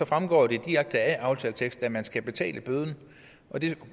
fremgår det direkte af aftaleteksten at man skal betale bøden og det